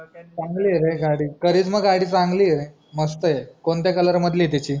चांगली आहे रे गाडी KARIZMA गाडी चांगली आहे रे मस्त आहे कोणत्या COLOUR मधली आहे त्याची